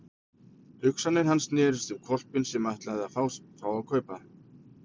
Hugsanir hans snerust um hvolpinn sem hann ætlaði að fá að kaupa.